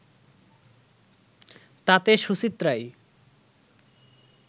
তাতে সুচিত্রাই